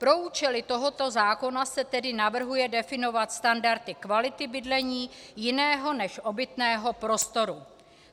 Pro účely tohoto zákona se tedy navrhuje definovat standardy kvality bydlení jiného než obytného prostoru.